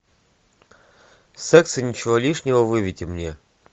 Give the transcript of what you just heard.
секс и ничего лишнего выведи мне